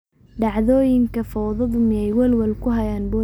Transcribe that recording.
Dhacdooyinka fowdadu miyay welwel ku hayaan booliiska?